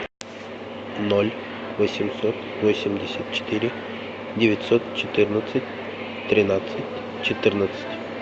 ноль восемьсот восемьдесят четыре девятьсот четырнадцать тринадцать четырнадцать